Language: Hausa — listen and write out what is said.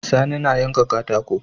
Sani na yanka katako